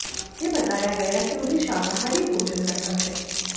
उन्हें बताया गया कि उन्हें शाकाहारी भोजन करना है